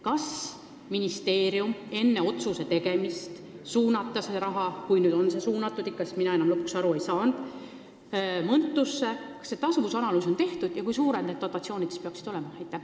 Kas ministeeriumil oli enne selle otsuse tegemist, et suunata see raha Mõntusse , tasuvusanalüüs tehtud ja kui suured need dotatsioonid siis peaksid olema?